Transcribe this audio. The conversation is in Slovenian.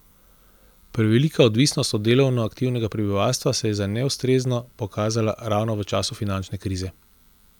Prevelika odvisnost od delovno aktivnega prebivalstva se je za neustrezno pokazala ravno v času finančne krize.